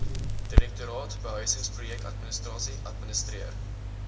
direktoraat behuisingsprojekadministrasie administreer